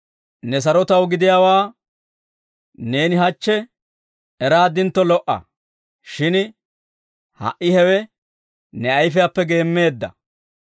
«Ne sarotaw gidiyaawaa neeni hachche eraaddintto lo"a; shin ha"i hewe ne ayfiyaappe geemmeedda.